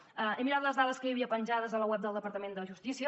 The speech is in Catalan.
he mirat les dades que hi havia penjades a la web del departament de justícia